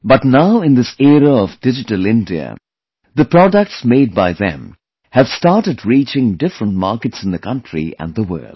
But now in this era of Digital India, the products made by them have started reaching different markets in the country and the world